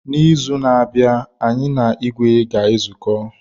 N'izu na-abịa, anyị na ìgwè ga-ezuko.